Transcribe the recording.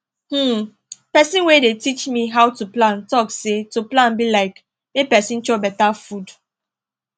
hmmm person wey dey teach me how to plan talk say to plan be like make person chop beta food